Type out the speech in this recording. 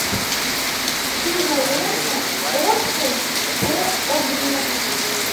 кинолента отпуск по обмену